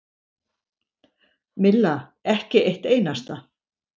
Milla: Ekki eitt einasta.